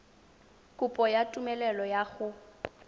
kopo ya tumelelo ya go